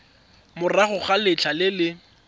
morago ga letlha le le